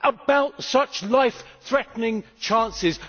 about such life threatening chances.